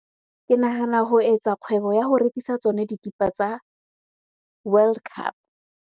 Ke nahana ho etsa kgwebo ya ho rekisa tsona dikipa tsa World Cup.